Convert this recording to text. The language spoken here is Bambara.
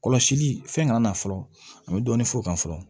Kɔlɔsili fɛn kana na fɔlɔ an bɛ dɔɔnin fɔ o kan fɔlɔ